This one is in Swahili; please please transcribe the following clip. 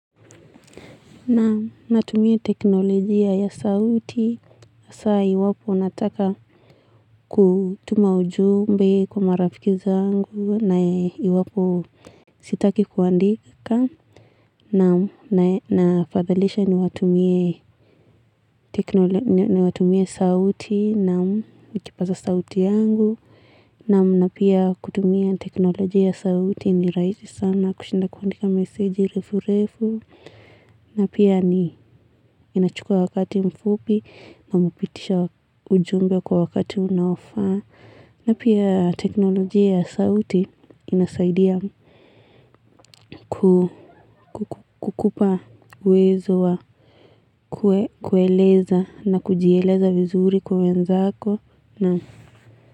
Natumia teknolojia ya sauti sasa iwapo nataka kutuma ujumbe kwa marafiki zangu na iwapo sitaki kuandika na nafadhalisha niwatumie teknolojia ya sauti, na kipaza sauti yangu. Naam pia kutumia teknolojia ya sauti ni rahisi sana kushinda kuandika meseji refu refu. Na pia ni inachukua wakati mfupi na mpitisha ujumbe kwa wakati unaofaa. Na pia teknolojia ya sauti inasaidia kukupa uwezo wa kueleza na kujieleza vizuri kwa wenzako na.